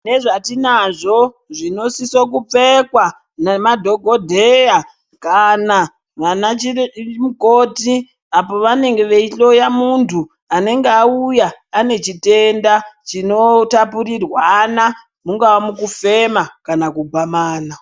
Nezvatinazvo zvinosise kupfekwa nemadhokodheya kana vanachire mukoti apo vanenge veihloya muntu anenge auya anechitenda chinotapurirwana mungaa mukufema kana kugwamana.